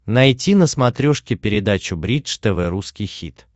найти на смотрешке передачу бридж тв русский хит